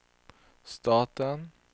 staten